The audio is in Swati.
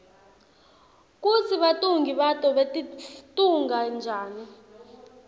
kutsi batfungi bato batitfunga njani